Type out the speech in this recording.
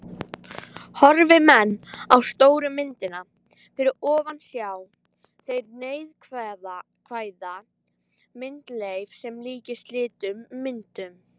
Horfi menn á stóru myndina fyrir ofan sjá þeir neikvæða myndleif sem líkist litlu myndunum.